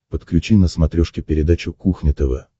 подключи на смотрешке передачу кухня тв